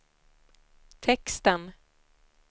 texten